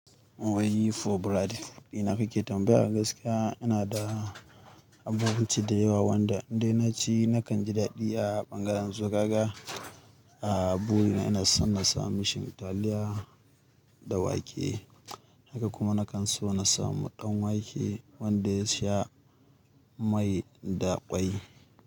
Wai yifoburadi, ina kake tambaya? Gaskiya ina da abubuwa ce da yawa wanda indai naci nakan ji daɗi a bangaren zogawa. A buyina ina son na samu shan taliya da wake. Haka kuma nakan so na samu ɗan wake wanda ya sha mai da ƙwai.